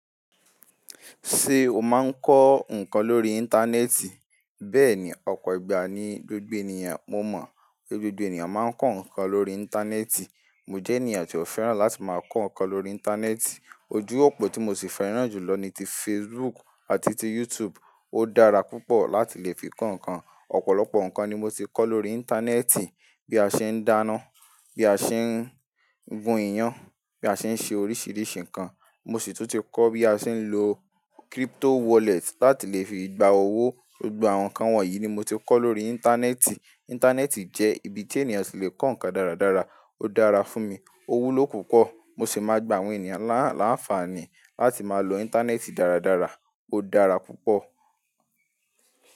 Ṣé o máa ń kọ́ nǹkan lórí Íńtánẹ́ẹ̀tì? Bẹ́ẹ̀ni, ọ̀pọ̀ ìgbà ni gbogbo éniyàn mo mọ̀, gbogbo ènìyàn máa ń kọ́ nǹkan lórí Íńtánẹ́ẹ̀tì. Mo jẹ́ ènìyàn tí ó fẹ́ràn láti máa kọ́ nǹkan lórí Íńtánẹ́ẹ̀tì. Ojú òpó tí mo sì fẹ́ràn jùlọ ni ti Facebook àti ti YouTube. Ó dára púpọ̀ láti lè fi kọ́ nǹkan. Ọ̀pọ̀lọpọ̀ nǹkan ni mo ti kọ́ lórí Íńtánẹ́ẹ̀tì. Bí a ṣe ń dáná, bí a ṣe ń gun iyán, bí a ṣe ń ṣe oríṣìíríṣìí nǹkan. Mo sì tún ti kọ́ bí a ṣe ń lo crypto wallet láti lè fi gba owó. Gbogbo àwọn nǹkan wọ̀nyí ni mo ti kọ́ lórí Íńtánẹ́ẹ̀tì. Íńtánẹ́ẹ̀tì jẹ́ ibi tí ènìyàn ti le kọ́ nǹkan dáradára. Ó dára fún mi, owú ló pùpọ̀. Mo sì máa gba àwọn ènìyàn a láǹfààní láti máa lo Íńtánẹ́ẹ̀tì dáradára. Ó dára púpọ̀.